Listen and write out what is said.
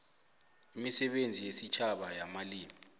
imisebenzi yesitjhaba yamalimi